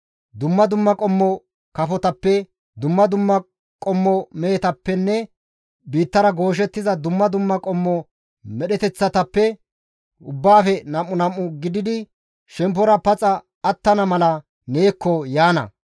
Dumma dumma qommo kafotappe, dumma dumma qommo mehetappenne biittara gooshettiza dumma dumma qommo medheteththatappe ubbaafe nam7u nam7u gididi shemppora paxa attana mala neekko yaana.